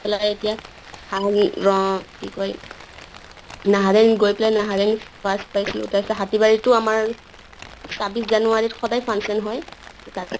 পেলাই এতিয়া ৰ কি হয় নাহাৰণি গৈ পালে নাহাৰণিত first পাইছিলো। তাৰ পিছত হাতী বাৰিত আমাৰ চাব্বিছ january ত সদায় function হয় তাতে